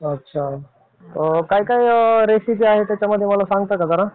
अच्छा. काय काय रेसिपी आहे त्याच्यामध्ये मला सांगता का?